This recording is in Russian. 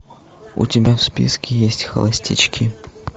у тебя в списке есть холостячки